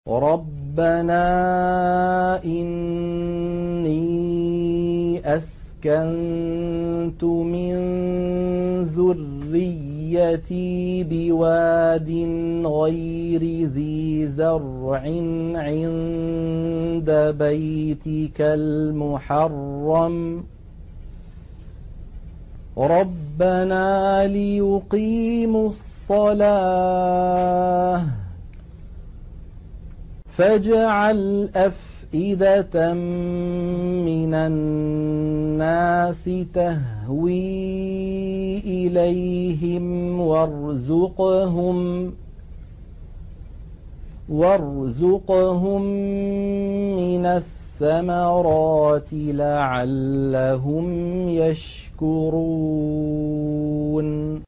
رَّبَّنَا إِنِّي أَسْكَنتُ مِن ذُرِّيَّتِي بِوَادٍ غَيْرِ ذِي زَرْعٍ عِندَ بَيْتِكَ الْمُحَرَّمِ رَبَّنَا لِيُقِيمُوا الصَّلَاةَ فَاجْعَلْ أَفْئِدَةً مِّنَ النَّاسِ تَهْوِي إِلَيْهِمْ وَارْزُقْهُم مِّنَ الثَّمَرَاتِ لَعَلَّهُمْ يَشْكُرُونَ